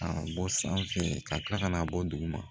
A bɔ sanfɛ ka kila ka n'a bɔ duguma